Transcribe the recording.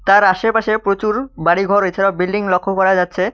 তার আসেপাশে প্রচুর বাড়িঘর এছাড়াও বিল্ডিং লক্ষ করা যাচ্ছে।